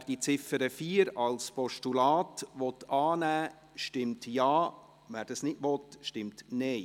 Wer die Ziffer 4 als Postulat annehmen möchte, stimmt Ja, wer dies ablehnt, stimmt Nein.